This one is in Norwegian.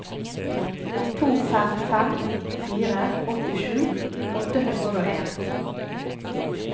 to fem fem fire åttisju åtte hundre og en